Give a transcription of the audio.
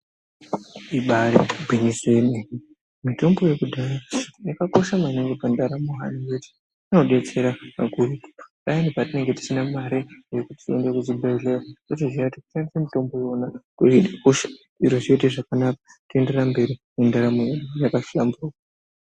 Ibari gwinyiso yemene mitombo yekudhaya yakakosha maningi pandaramo hayo yedu inodetsera kakurutu payani patinenge tisina mare yekuti tiende kuzvibhedhlera totoziya kuti kushandisa iwona kwakakosha zviro zvoita zvakanaka toenderera mberi nendaramo yedu yakahlamburuka .